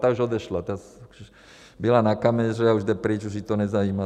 Ta už odešla, byla na kameře a už jde pryč, už ji to nezajímá.